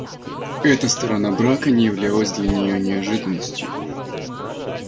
эта сторона брака не являлась для неё неожиданностью